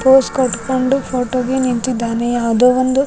pose ಕಟ್ಕೊಂಡು photo ಗೆ ನಿಂತಿದ್ದಾನೆ ಯಾವ್ದೋ ಒಂದು --